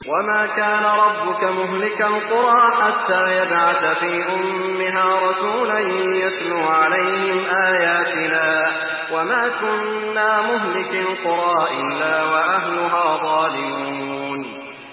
وَمَا كَانَ رَبُّكَ مُهْلِكَ الْقُرَىٰ حَتَّىٰ يَبْعَثَ فِي أُمِّهَا رَسُولًا يَتْلُو عَلَيْهِمْ آيَاتِنَا ۚ وَمَا كُنَّا مُهْلِكِي الْقُرَىٰ إِلَّا وَأَهْلُهَا ظَالِمُونَ